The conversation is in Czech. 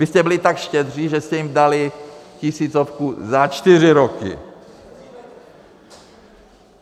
Vy jste byli tak štědří, že jste jim dali tisícovku za čtyři roky.